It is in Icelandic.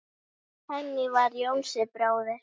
Þannig var Jónsi bróðir.